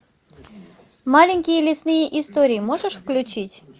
маленькие лесные истории можешь включить